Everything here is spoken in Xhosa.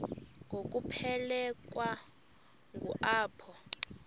ngokuphelekwa ngu apho